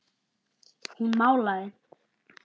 Hún málaði.